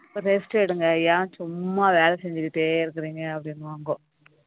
rest எடுங்க ஏன் சும்மா வேலை செஞ்சுகிட்டே இருக்கீங்க அப்படின்னுவாங்க